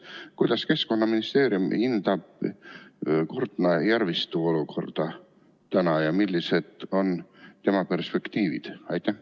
Kuidas Keskkonnaministeerium hindab Kurtna järvistu olukorda ja millised on tema perspektiivid?